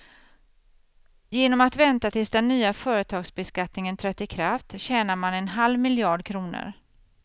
Genom att vänta tills den nya företagsbeskattningen trätt i kraft tjänar man en halv miljard kronor.